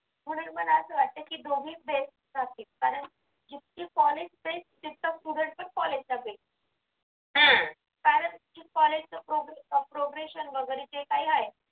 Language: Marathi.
म्हणून मला असं वाटतं की दोन्ही phrase सारखीच कारण जितके college ते तितका student पण college ला जाईल कारण college च progration वगैरे जे काही आहे